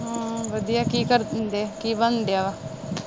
ਹਮ ਵਧੀਆ ਕੀ ਕਰਨ ਦੇ ਕੀ ਬਣਨ ਦਿਆ ਵਾ